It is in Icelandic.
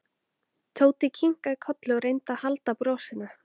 Sumarlína, hvernig er veðrið á morgun?